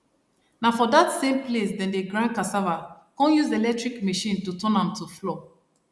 na for dat same place dem dey grind cassava come use electric machine to turn am to flour